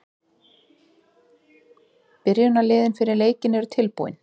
Byrjunarliðin fyrir leikinn eru tilbúin.